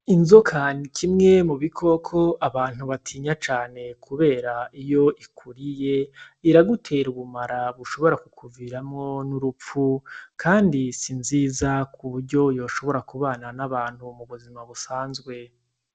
Inzoka ni kimwe mu bikoko abantu batinya cane kubera iyo ikuriye, iragutera ubumara bushobora kukuviramwo n'urupfu kandi si vyiza ku buryo yoshobora kubana n'abantu mu buzima busanzwe.